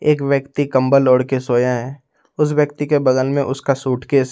एक व्यक्ति कंबल ओढ़ के सोया है उस व्यक्ति के बगल में उसका सूटकेस --